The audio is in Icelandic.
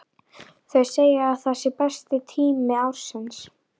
Þau segja að það sé besti tími ársins.